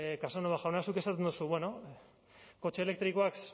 casanova jauna zuk esaten duzu bueno kotxe elektrikoak